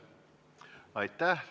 Aitäh!